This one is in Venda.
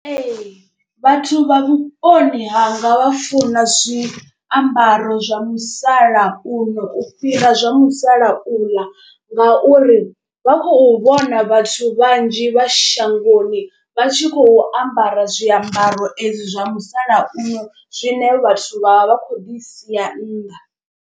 Ee vhathu vha vhuponi hanga vha funa zwiambaro zwa musalauno u fhira zwa musalauḽa. Ngauri vha khou vhona vhathu vhanzhi vha shangoni vha tshi khou ambara zwiambaro ezwi zwa musalauno zwine vhathu vha vha vha kho ḓi sia nnḓa.